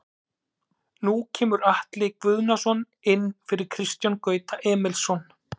Nú kemur Atli Guðnason inn fyrir Kristján Gauta Emilsson.